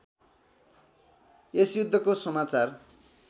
यस युद्धको समाचार